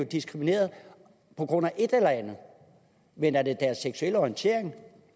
diskrimineret på grund af et eller andet men er det deres seksuelle orientering